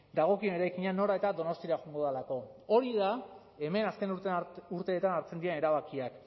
dagokien eraikina nora eta donostiara joango delako hori da hemen azken urteetan hartzen diren erabakiak